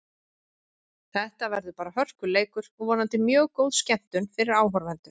Þetta verður bara hörkuleikur og vonandi mjög góð skemmtun fyrir áhorfendur.